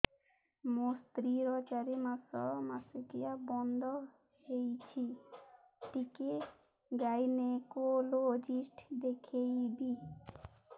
ମୋ ସ୍ତ୍ରୀ ର ଚାରି ମାସ ମାସିକିଆ ବନ୍ଦ ହେଇଛି ଟିକେ ଗାଇନେକୋଲୋଜିଷ୍ଟ ଦେଖେଇବି